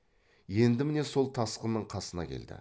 енді міне сол тасқынның қасына келді